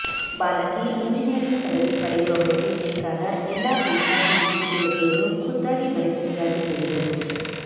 ಬಾಲಕಿ ಇಂಜಿನಿಯರಿಂಗ್ ಪದವಿ ಪಡೆಯುವವರೆಗೆ ಬೇಕಾದ ಎಲ್ಲಾ ಹಣಕಾಸಿನ ಅನುಕೂಲತೆಯನ್ನು ಖುದ್ದಾಗಿ ಭರಿಸುವುದಾಗಿ ಹೇಳಿದರು